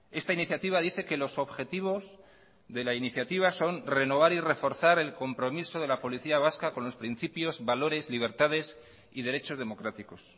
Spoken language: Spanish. esta iniciativa dice que los objetivos de la iniciativa son renovar y reforzar el compromiso de la policía vasca con los principios valores libertades y derechos democráticos